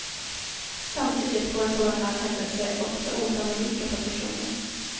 Samtidigt får en sådan här händelse också osannolika propotioner.